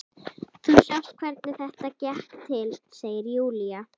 Þú sást hvernig þetta gekk til, segir Júlía.